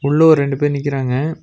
உள்ள ஓர் ரெண்டு பேர் நிக்கறாங்க.